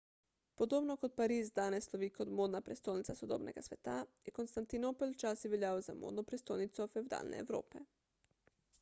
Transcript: podobno kot pariz danes slovi kot modna prestolnica sodobnega sveta je konstantinopel včasih veljal za modno prestolnico fevdalne evrope